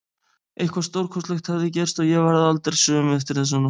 Eitthvað stórkostlegt hafði gerst og ég varð aldrei söm eftir þessa nótt.